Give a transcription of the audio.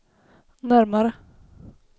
närmare